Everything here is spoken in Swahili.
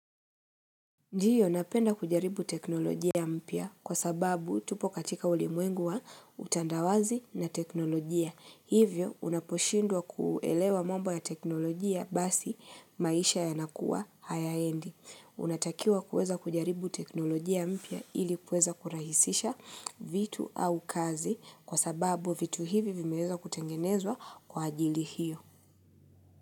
Ndiyo napenda kujaribu teknolojia mpya kwa sababu tupo katika ulimwengu wa utandawazi na teknolojia. Hivyo unaposhindwa kuelewa mambo ya teknolojia basi maisha yanakuwa hayaendi Unatakiwa kuweza kujaribu teknolojia mpya ili kuweza kurahisisha vitu au kazi kwa sababu vitu hivi vimeweza kutengenezwa kwa ajili hiyo.